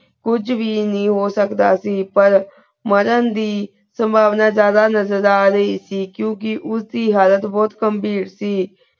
ਕੁਜ ਵੀ ਨਾਈ ਹੋ ਸਕਦਾ ਸੇ ਪਰ ਮਾਰਨ ਦੀ ਸੰਭਾਵਨਾ ਜ਼ਾਯਦਾ ਨਜ਼ਰ ਆ ਰਹੀ ਸੇ ਕ੍ਯੂਂ ਕੇ ਉਸ ਦੀ ਹਾਲਤ ਬੋਹਤ ਗੰਭੀਰ ਸੀ